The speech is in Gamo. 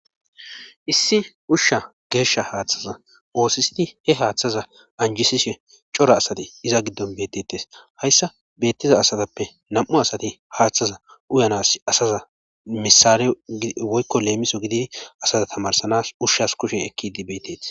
Issi ushsha geeshsha haaththaza oosisidi he haaththaza anjisishe cora asati iza giddon bettettes hayssa beettiza asatappe nam'u asati haaththaza uyanas asaza misare woykko leemiso gidi asaza tamarsanas ushshas kushe ekki idi beetteti